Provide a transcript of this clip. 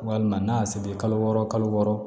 Walima n'a y'a seri kalo wɔɔrɔ kalo wɔɔrɔ